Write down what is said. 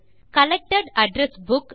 collected address book